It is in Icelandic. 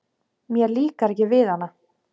Mér líkar ekki við hana.